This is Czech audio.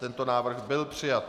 Tento návrh byl přijat.